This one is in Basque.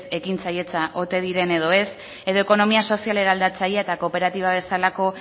ekintzailetza ote diren edo ez edo ekonomia sozial eraldatzailea eta kooperatiba bezalako